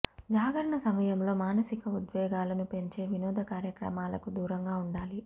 జాగరణ సమయంలో మానసిక ఉద్వేగాలను పెంచే వినోద కార్యక్రమాలకు దూరంగా ఉండాలి